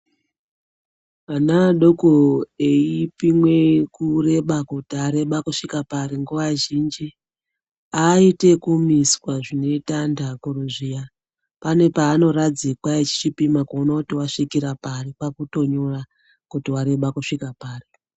Ana adoko eipimwe kurebako, kuti areba kusvika pari, nguva zhinji haaiti zvekumiswa zvinoite antu akuru zviya, pane paanoradzikwa echipima kuona kuti vasvika pari, kwakutonyora kuti wareba kusvike papi.